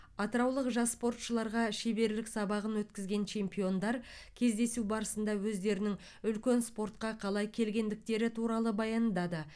атыраулық жас спортшыларға шеберлік сабағын өткізген чемпиондар кездесу барысында өздерінің үлкен спортқа қалай келгендіктері туралы баяндады